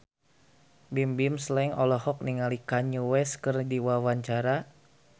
Bimbim Slank olohok ningali Kanye West keur diwawancara